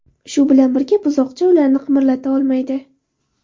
Shu bilan birga, buzoqcha ularni qimirlata olmaydi.